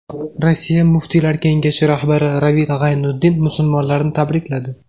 Rossiya muftiylar kengashi rahbari Ravil G‘aynutdin musulmonlarni tabrikladi.